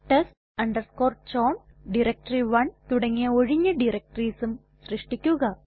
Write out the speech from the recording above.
test chown ഡയറക്ടറി1 തുടങ്ങിയ ഒഴിഞ്ഞ directoriesഉം സൃഷ്ടിക്കുക